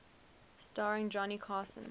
starring johnny carson